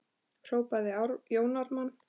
hrópaði Jón Ármann.